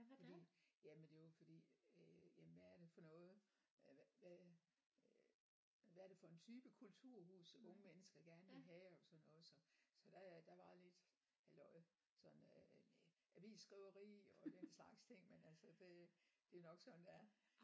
Fordi jamen det var fordi øh jamen hvad er det for noget øh hvad hvad øh hvad er det for en type kulturhus unge mennesker gerne vil have og sådan noget så så der der var lidt halløj sådan øh med avisskriveri og den slags ting men altså det det er nok sådan det er